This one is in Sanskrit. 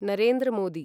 नरेन्द्र मोदी